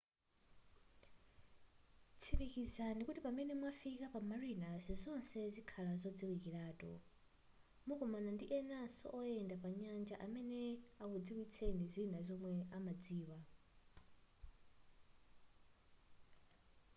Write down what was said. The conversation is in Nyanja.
tsikimizani kuti pamene mwafika pa marinas zonse zikhala zodziwikilatu mukumana ndi enanso oyenda pa nyanja amene akudziwitseni zina zomwe amadziwa